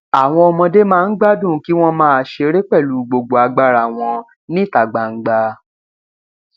àwọn ọmọdé máa ń gbádùn kí wọn máa ṣeré pẹlú gbogbo agbára wọn níta gbangba